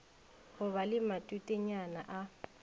go ba le matutenyana a